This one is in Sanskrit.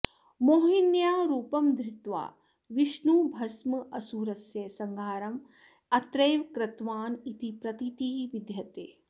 मोहिन्याः रूपं धृत्वा विष्णुः भस्मासुरस्य संहारम् अत्रैव कृतवान् इति प्रतीतिः विद्यते